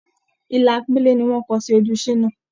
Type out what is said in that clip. Ilà pélé ni wọ́n kọ sí ojú Ṣínà.